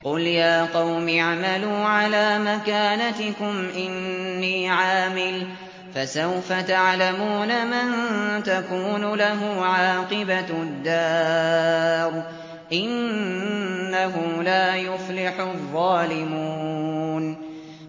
قُلْ يَا قَوْمِ اعْمَلُوا عَلَىٰ مَكَانَتِكُمْ إِنِّي عَامِلٌ ۖ فَسَوْفَ تَعْلَمُونَ مَن تَكُونُ لَهُ عَاقِبَةُ الدَّارِ ۗ إِنَّهُ لَا يُفْلِحُ الظَّالِمُونَ